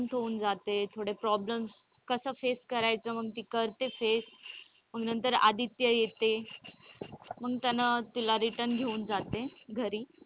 शांत होऊन जाते थोडे problems कस face करायचं मग ती करते face म्हणून तर आदित्य येते मग त्याने तिला return घेऊन जाते घरी.